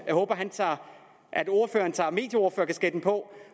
jeg håber at ordføreren tager medieordførerkasketten på